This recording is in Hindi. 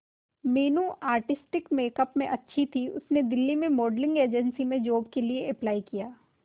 मीनू आर्टिस्टिक मेकअप में अच्छी थी उसने दिल्ली में मॉडलिंग एजेंसी में जॉब के लिए अप्लाई किया